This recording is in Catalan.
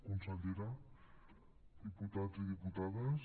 consellera diputats i diputades